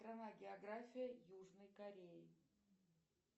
страна география южной кореи